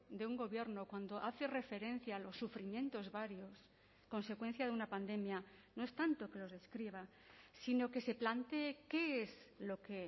de un gobierno cuando hace referencia a los sufrimientos varios consecuencia de una pandemia no es tanto que los describa sino que se plantee qué es lo que